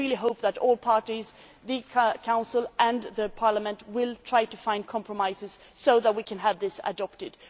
I hope that all parties, the Council and Parliament, will try to find compromises so that we can have this adopted.